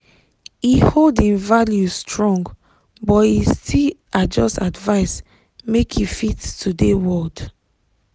e hold im values strong but e still adjust advice make e fit today world.